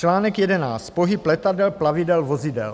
Článek 11. Pohyb letadel, plavidel, vozidel.